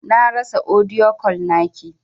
Na rasa audio call naki.